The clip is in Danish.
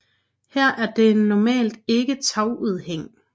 Her er der normalt ikke tagudhæng